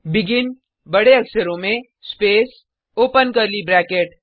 begin बडे अक्षरों में स्पेस ओपन कर्ली ब्रैकेट